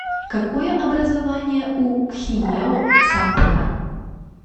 какое образование у кхиеу сампхан